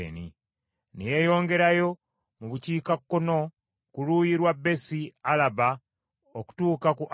ne yeeyongerayo mu bukiikakkono ku luuyi lwa Besi Alaba okutuuka ku Alaba,